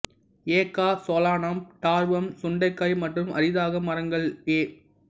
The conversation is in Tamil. எ கா சொலானம் டார்வம் சுண்டைக்காய் மற்றும் அரிதாக மரங்கள் எ